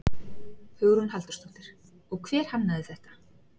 Hugrún Halldórsdóttir: Og hver hannaði þetta?